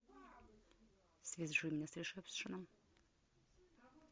свяжи меня с ресепшеном